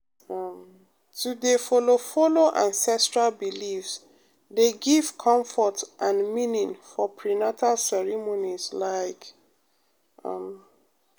um to dey follow follow ancestral beliefs dey give comfort and meaning for prenatal ceremonies like um.